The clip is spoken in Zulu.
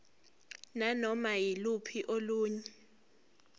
nanoma yiluphi olunye